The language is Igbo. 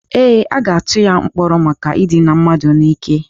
Ee, a ga-atụba ya mkpọrọ maka idina mmadụ n'ike.